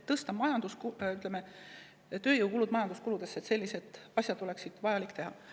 Kui tahta tõsta tööjõukulusid majanduskuludesse, siis oleks sellised asjad vaja ära teha.